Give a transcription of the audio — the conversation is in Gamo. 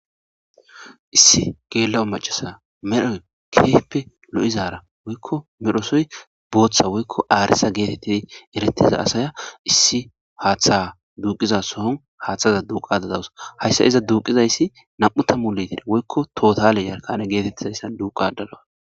issi geella'o macasa medhoy keheppe lo'izara woykko medhosoy booththa woykko aaresa geetettidi eretiza asaya issi haaththa duuqiza sohon haaththaza duuqada dawus hayssa iza duuqizayssi nam'u tammu litira woykko tootale yarkane geetettizayssa duuqada dawus